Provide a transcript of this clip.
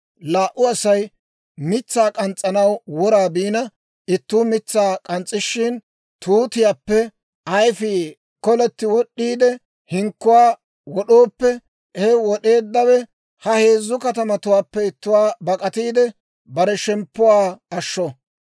Laa"u Asay mitsaa k'ans's'anaw wora biina, ittuu mitsaa k'ans's'ishin, tuutiyaappe ayfii koletti wod'd'iide hinkkuwaa wod'ooppe, he wod'eeddawe ha heezzu katamatuwaappe ittuwaa bak'atiide, bare shemppuwaa ashsho.